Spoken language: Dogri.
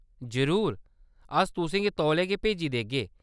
जरूर, अस तुसें गी तौले गै भेजी देगे।